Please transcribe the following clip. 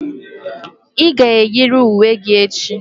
Ị ga-eyiri uwe gị echi!